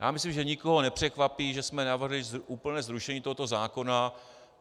Já myslím, že nikoho nepřekvapí, že jsme navrhli úplné zrušení tohoto zákona.